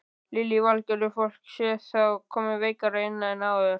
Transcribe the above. Lillý Valgerður: Fólk sé þá koma veikara inn en áður?